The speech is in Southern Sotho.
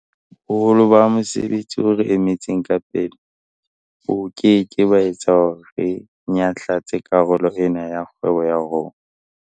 Boholo ba mosebetsi o re emetseng ka pele bo ke ke ba etsa hore re nyahlatse karolo ena ya kgwebo ya rona.